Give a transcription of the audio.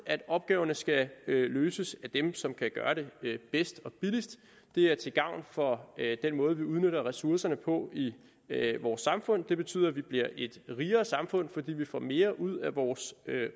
at opgaverne skal løses af dem som kan gøre det bedst og billigst det er til gavn for den måde vi udnytter ressourcerne på i vores samfund det betyder at vi bliver et rigere samfund fordi vi får mere ud af vores